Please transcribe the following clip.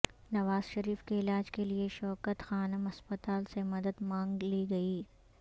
نوازشریف کےعلاج کےلئے شوکت خانم ہسپتال سے مدد مانگ لی گئی